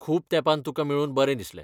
खूब तेंपान तुका मेळून बरें दिसलें.